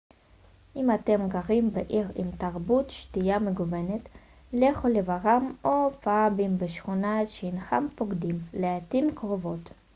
אם אתם גרים בעיר עם תרבות שתייה מגוונת לכו לברים או פאבים בשכונות שאינכם פוקדים לעתים קרובות